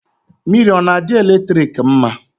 Mmiri ọ na-adị eletrik mma?